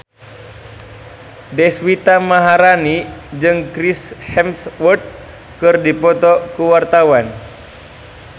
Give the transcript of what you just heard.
Deswita Maharani jeung Chris Hemsworth keur dipoto ku wartawan